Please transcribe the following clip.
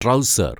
trouser‍